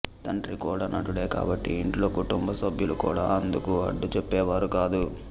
తండ్రి కూడా నటుడే కాబట్టి ఇంట్లో కుటుంబ సభ్యులు కూడా అందుకు అడ్డు చెప్పేవారు కాదు